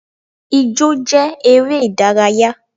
Ijọ́ jẹ́ eré ìdárayá.